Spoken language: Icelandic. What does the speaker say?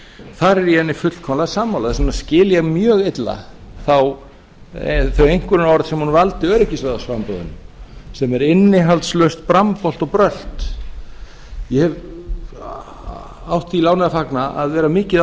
þar er ég henni fullkomlega sammála þess vegna skil ég mjög illa þau einkunnarorð sem hún valdi öryggisráðsframboðinu sem er innihaldslaust brambolt og brölt ég hef átt því láni að fagna að vera mikið á